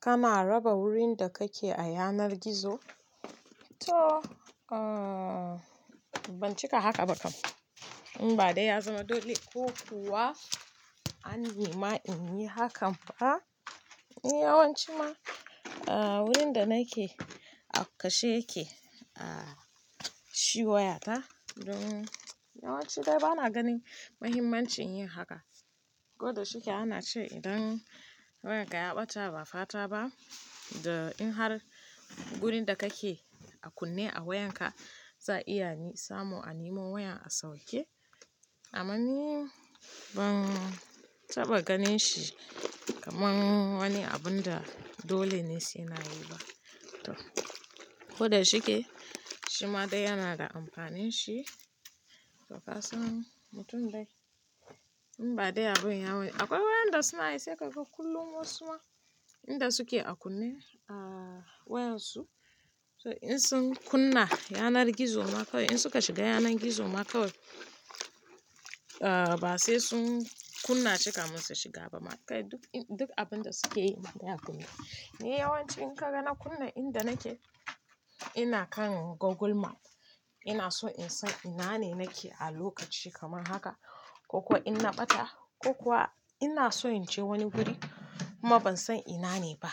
Kana raba wurin da kake a yanar gizo? To ban cika haka ba kam. In ba dai ya zama dole ko kuwa an yi ma in yi hakan ba. Ni yawanci ma wurin da nake a kashe yake a shi wayata. Don yawanci dai bana ganin mahimmanci in yi haka. Koda shike ana ce idan wayarka ya ɓata ba fata ba da in har wurin da kake a kunne a wayarka za iya ni samu an yi mun waya a sauke. Amma ni ban taɓa ganin shi kamar wani abun da dole ne si nayi ba. To koda shike shi ma dai yana da amfanin shi to ƙasan mutum dai. In ba dai abun yawanci akwai wayanda suna ishe kai kullum wasu ma inda suke a kunne a wayarsu. So in sun kunna yanar gizo ma kawai in suka shiga yanar gizo ma kawai ba sai sun kunna cika munsa shiga ba ma kawai duk abun da suke yi ma ya kunne. Ni yawanci in ka ga na kunna inda nake ina kan Google Map. Ina so in san ina ne nake a lokaci kamar haka ko kuwa in na ɓata ko kuwa ina so in je wani wuri kuma ban san ina ne ba.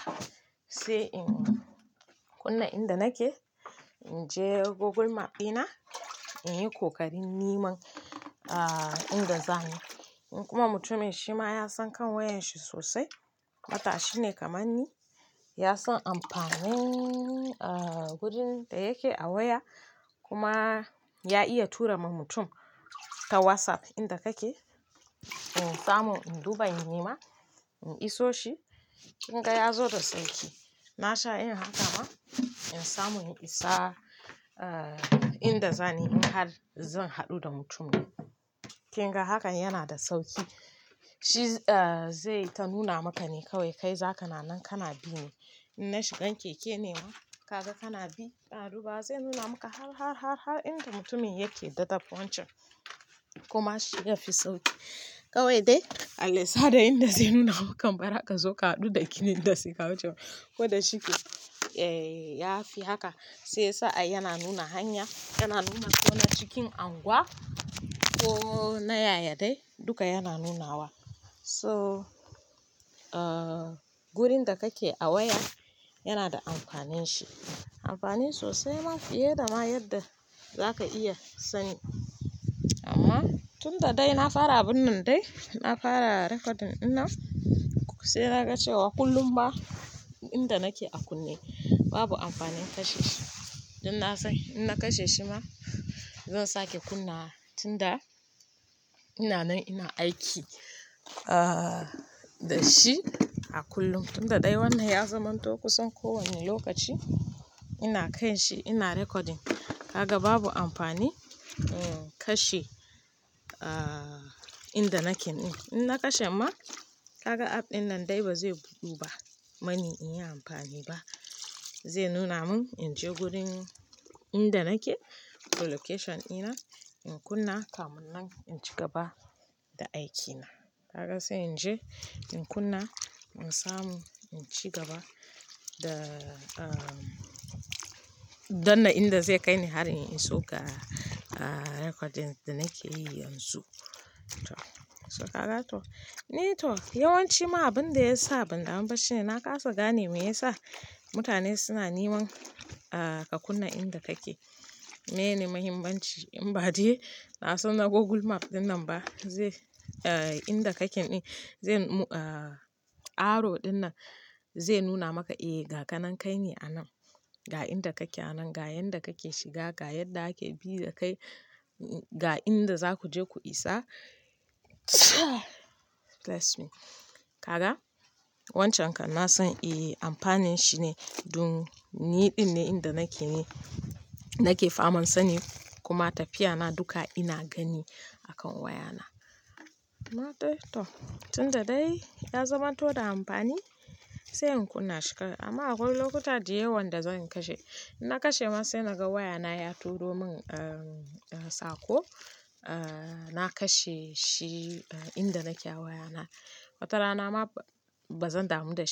Sai in kunna inda nake in je Google Map ɗina in yi ƙoƙarin niman inda zani. In kuma mutumin shi ma ya san kan wayar shi sosai matashi ne kamar ni ya san amfanin wajan da yake a waya kuma ya iya tura ma mutum ta WhatsApp inda kake in samu in duba in nima in iso shi. Kun ga ya zo da sauƙi na sha in haka ma in samu in isa inda zani in har zan haɗu da mutumin. Kin ga haka yana da sauƙi. Shi zai ta nuna maka ne kawai kai za ka na nan kana bi ne. In na shigan keke ne ma kaga kana bi ka duba zai nuna maka har inda mutumin yake dadaddan wancan kuma shiya fi sauƙi. Kawai dai Allah ya sa da inda zai nuna maka bara aka zo ka haɗu da kininda suka wucewa. Koda shike ya fi haka sai sa'a yana nuna hanya yana nuna ko na cikin unguwa ko na yaya dai duka yana nunawa. So wurin da kake a waya yana da amfanin shi. Amfani sosai ma fiye da ma yadda za ka iya sani. Amma tunda dai na fara abun nan dai na fara recording ina sai naga cewa kullum ba inda nake a kunne babu amfanin kashe shi. Don na san in na kashe shi ma zan sake kunna tunda ina nan ina aiki da shi a kullum. Tunda dai wannan ya zamanto kusan ko wani lokaci ina kai shi ina recording. Ka ga babu amfani in kashe inda naken. In na kashe ma haka app ɗinnan dai ba zai budde ba mani in yi amfani ba. Zai nuna mun in je gurin inda nake location ina in kunna kamun nan in ci gaba da aikina. Ka ga sai in je in kunna in samu in ci gaba da don nan inda zai kai ni har in in so ga recordings da nake yi yanzu. To so ka ga to ni to yawanci ma abin da ya sa ban damu ba shine na kasa gane me yasa mutane suna niman ka kunna inda kake. Mene mahimmanci in ba dai na san na Google Map dinnan ba zai inda kaken yi. Arrow dinnan zai nuna maka eh ga kanan kai ne anan ga inda kake anan ga yanda kake shiga ga yadda ake bi da kai ga inda za ku je ku isa bless me. Ka ga? Wancan kan na san eh amfanin shi ne don niɗinne inda nake ne nake faman sani kuma tafiya na duka ina gani a kan wayana. Matai to tunda dai ya zamanto da amfani sai in kunna shi kawai amma akwai lokuta dai yawan da zan kashe. In na kashe ma sai naga wayana ya turo mun sako na kashe shi inda nake a wayana. Watarana ma ba zan damu da shi ba.